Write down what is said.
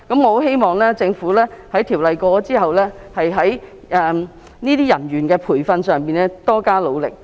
我希望《條例草案》獲通過後，政府日後在培訓有關人員方面多加努力。